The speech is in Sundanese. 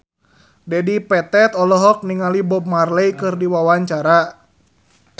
Dedi Petet olohok ningali Bob Marley keur diwawancara